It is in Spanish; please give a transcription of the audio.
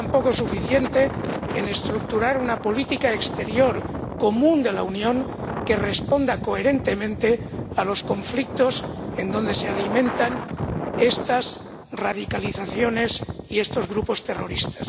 ha sido tampoco suficiente para estructurar una política exterior común de la Unión que responda coherentemente a los conflictos, donde se alimentan estas radicalizaciones y estos grupos terroristas.